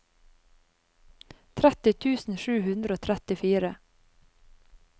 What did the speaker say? tretti tusen sju hundre og trettifire